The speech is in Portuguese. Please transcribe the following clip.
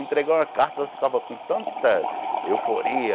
Entregar uma carta e ela ficava com tanta euforia.